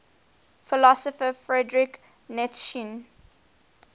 philosopher friedrich nietzsche